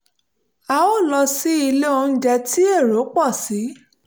a ò lọ sí ilé oúnjẹ tí èrò pọ̀ sí